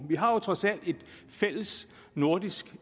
har jo trods alt et fælles nordisk